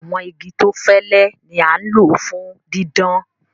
Àwọn igi tó fẹlé ni a n lọ fún dídán.